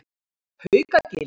Haukagili